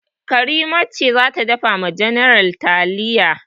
Karima ce za ta dafa wa general taliya.